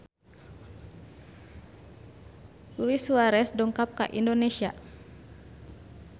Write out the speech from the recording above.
Luis Suarez dongkap ka Indonesia